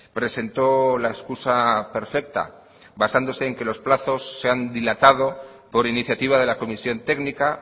presentó la excusa perfecta basándose en que los plazos se han dilatado por iniciativa de la comisión técnica